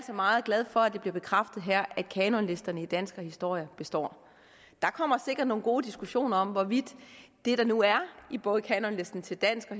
meget glade for at det bliver bekræftet her at kanonlisterne i dansk og historie består der kommer sikkert nogle gode diskussioner om hvorvidt det der nu er i både kanonlisten til dansk og